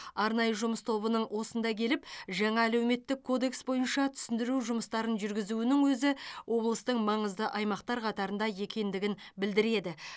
арнайы жұмыс тобының осында келіп жаңа әлеуметтік кодекс бойынша түсіндіру жұмыстарын жүргізуінің өзі облыстың маңызды аймақтар қатарында екендігін білдіреді